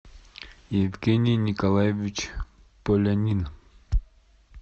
евгений николаевич полянин